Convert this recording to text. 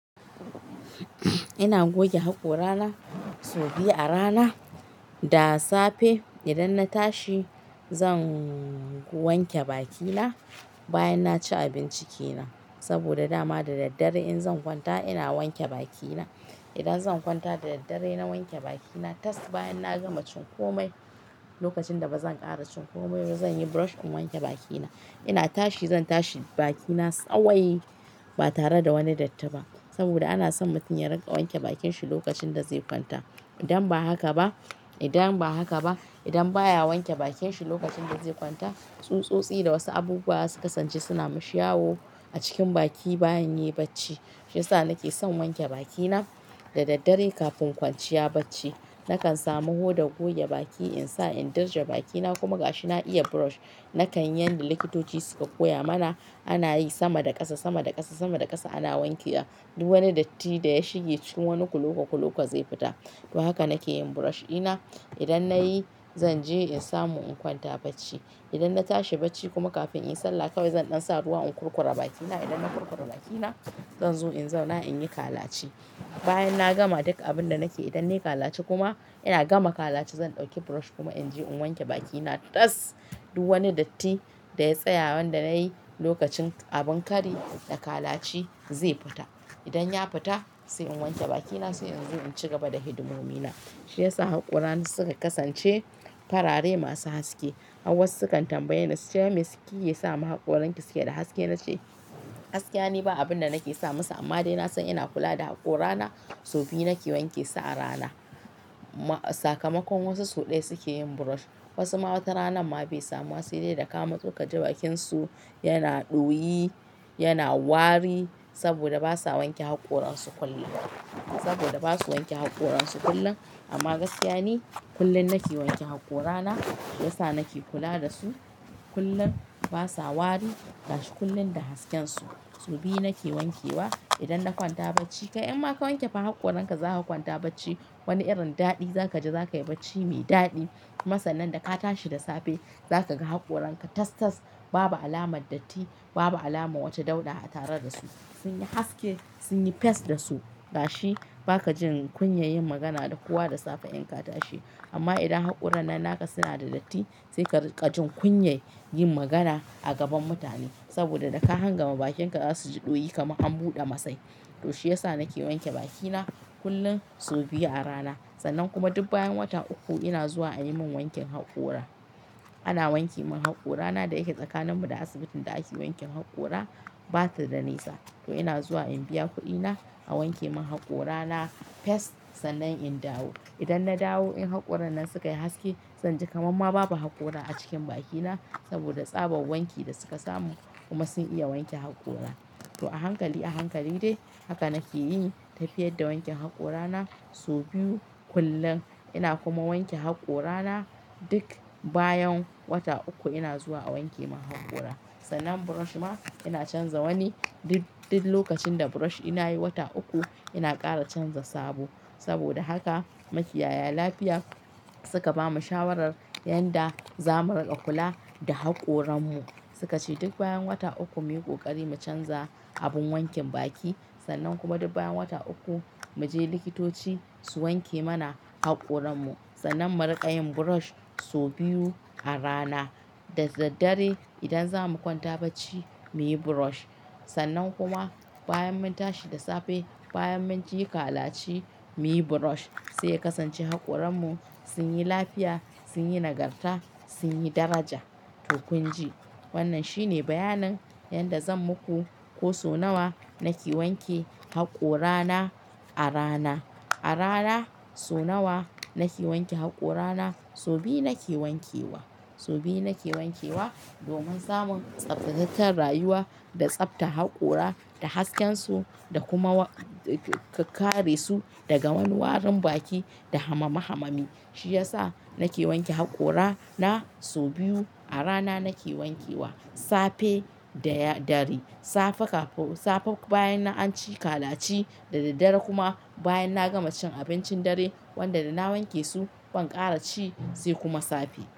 Ina goge haƙora na so biyu a rana, da safe idan na tashi zan wanke bakina, bayan naci abinci kenan. Saboda dama da daddare in zan kwanta ina wanke bakina. Idan zan kwanta da daddare na wanke bakina tas, bayanna gama cin komai, lokacin da bazan ƙara cin komai ba zanyi brush in wanke bakina. Ina tashi zan tashi bakina tsawwai, ba tare da wani datti ba, saboda ana son mutum ya riƙa wanke bakin shi lokacinda zai kwanta. Idan ba haka ba, idan ba haka ba, idan baya wanke bakin shi lokacin da zai kwanta, tsutsotsi da wasu abubuwa zasu kasance suna mashi yawo a cikin baki bayan yai bacci. Shi yasa nake son wanke bakina da daddare kafin kwanciya bacci. Nakan samu hodan goge baki insa in dirje bakina kuma ga shi na iya brush. Nakan yanda likitoci suka koya mana, anayi sama da ƙasa, sama da ƙasa, sama da ƙasa ana wanke wa duk wani datti da ya shige cikin wani kulogo kulogo zai fita. To haka nake yin brush ina. Idan nayi zanje in samu in kwanta bacci. Idan na tashi bacci kuma kafin inyi sallah kawai zan ɗansa ruwa in kurkura bakina. Idanna kurkura bakina, zanzo in zauna inyi kalaci. Bayan na gama duk abin da nake idan nayi kalaci kuma ina gama kalaci zan ɗauki brush kuma in je in wanke bakina tas. Duk wani datti da ya tsaya wanda nayi lokacin abin kari, da kalaci zai fita. Idan ya fita sai in wanke bakina sai inzo in ci gaba da hidimomina. Shiyasa haƙorana suka kasance farare masu haske. Har wasu sukan tambaye ni suce waime suke kike sama haƙoranki suke da haske? Nace gaskiya ni ba abin da nake sa musu amma dai na san ina kula da haƙorana, sau biyu nake wankesu a rana. Saka makon wasu sau ɗaya suke yin brush. Wasu ma wata ranamma bai samuwa sedai daka matsozakaji bakinsu yana ɗoyi, yana wari, saboda basa wanke haƙoran su kullum. Saboda basu wanke haƙoran su kullum, amma gaskiya ni, kullum nake wanke haƙorana. Yasa nake kula dasu kullum basa wari gashi kullum da hasken su. Sau biyu nake wankewa idan na kwanta bacci. Kai in ma ka wanke fa haƙoran ka za ka kwanta bacci, wani irin daɗi zakaji zakayi bacci mai daɗi. Kuma sannan daka tashi da safe, zaka ga haƙoranka tas tas babu alamar datti, babu alamar wata dauda a tare dasu. Sunyi haske, sunyi fess dasu, gashi bakajin kunyar yin magana da kowa da safe inka tashi. Amma idan haƙoran nan naka suna da datti, saika riƙa jin kunyar yin magana a gaban mutane, saboda daka hangama bakinka zasuji ɗoyi kamar an buɗe masai. To shiyasa nake wanke bakina kullum sau biyu a rana. Sannan kuma duk bayan wata uku ina zuwa a yimin wankin haƙora. Ana wanke min haƙorana da yake tsakanin mu da asibitin da ake wanken haƙora, ba tada nisa. To ina zuwa in biya kuɗi na, a wanke min haƙorana fess sannan in dawo. Idan na dawo in haƙoran nan suka yi haske zanji kamar ma babu haƙora a cikin bakina, saboda tsaban wanki da suka samu, kuma sun iya wanke haƙora. To a hankali a hankali dai, haka nake yi, tafiyar da wankin haƙorana, sau biyu kullum. Ina kuma wanke haƙora na duk bayan wata uku ina zuwa a wanke min haƙora. Sannan brush ma ina canza wani duk, duk lokacin da brush ina yi wata uku ina ƙara canza sabo. Saboda haka makiyaya lafiya suka bamu shawarar yanda zamu riƙa kula da haƙoran mu. Sukace duk bayan wata uku muyi ƙoƙari mu canza abin wankin baki, sannan kuma duk bayan wata uku, muje likitoci su wanke mana haƙoran mu. Sannan mu riƙa yin brush sau biyu a rana. Da daddare idan zamu kwanta bacci muyi brush. Sannan kuma bayan mun tashi da safe, bayan munje kalaci muyi brush, sai ya kasance haƙoran mu sun yi lafiya, sunyi nagarta, sun yi daraja. To kunji, wannan shine bayanin yanda zan muku ko sau nawa, nake wanke haƙorana a rana. A rana sau nawa nake wanke haƙora na? Sau biyu nake wankewa. Sau biyu nake wankewa, domin samun tsaftataccen rayuwa, da tsaftar haƙora, da haskensu da kuma karesu daga wani warin baki da hamami hamami. Shiyasa, nake wanke haƙora na sau biyu a rana nake wanke wa, safe da dare. Safe kafin safe bayan anci kalaci, da daddare kuma bayan na gama cin abincin dare wanda dana wankesu, ban ƙara ci sai kuma safe.